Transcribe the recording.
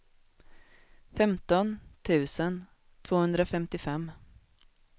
femton tusen tvåhundrafemtiofem